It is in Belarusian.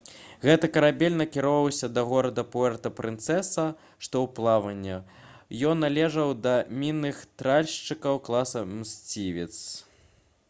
гэты карабель накіроўваўся да горада пуэрта-прынцэса што ў палаване. ён належаў да мінных тральшчыкаў класа «мсцівец»